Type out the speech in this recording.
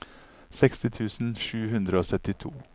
seksti tusen sju hundre og syttito